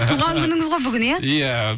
туған күніңіз ғой бүгін иә иә